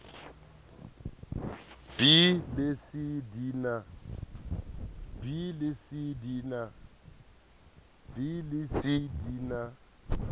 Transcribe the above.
b le c di na